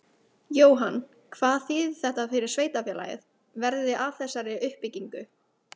Jóhann: Hvað þýðir þetta fyrir sveitarfélagið, verði af þessari uppbyggingu?